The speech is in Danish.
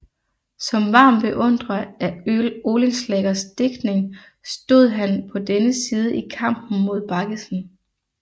Som varm beundrer af Oehlenschlägers digtning stod han på dennes side i kampen mod Baggesen